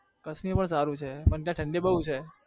કાશ્મીર પણ સારું છે પણ ત્યાં ઠંડી બહુ છે.